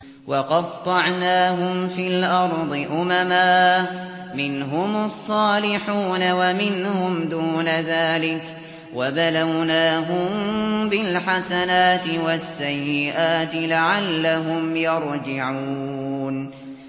وَقَطَّعْنَاهُمْ فِي الْأَرْضِ أُمَمًا ۖ مِّنْهُمُ الصَّالِحُونَ وَمِنْهُمْ دُونَ ذَٰلِكَ ۖ وَبَلَوْنَاهُم بِالْحَسَنَاتِ وَالسَّيِّئَاتِ لَعَلَّهُمْ يَرْجِعُونَ